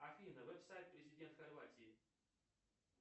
афина веб сайт президент хорватии